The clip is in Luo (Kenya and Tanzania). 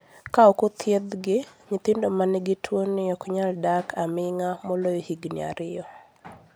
Ka ok othiedhgi, nyithindo ma nigi tuwoni ok nyal dak aming'a moloyo higini ariyo.